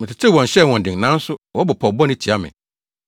Metetew wɔn, hyɛɛ wɔn den, nanso wɔbɔ pɔw bɔne tia me.